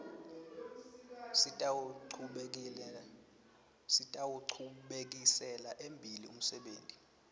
sitawuchubekisela embili umsebenti